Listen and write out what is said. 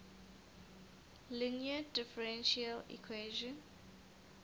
linear differential equation